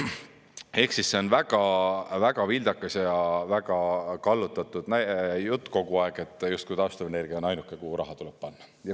Ehk siis see on väga vildakas ja väga kallutatud jutt kogu aeg, justkui taastuvenergia on ainuke, kuhu raha tuleb panna.